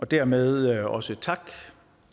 dermed også tak